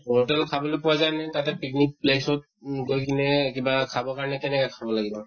hotel ত খাবলৈ পোৱা যায় নে তাতে picnic place ত উম গৈ কিনে কিবা খাবৰ কাৰণে কেনেকে খাব লাগিব?